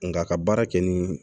Nka ka baara kɛ nin